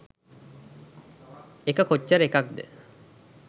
එක කොච්චර එකක්ද?